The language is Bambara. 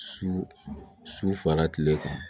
Su su fara kile kan